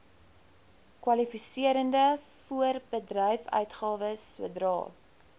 kwalifiserende voorbedryfsuitgawes sodra